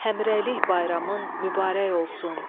Həmrəylik bayramın mübarək olsun.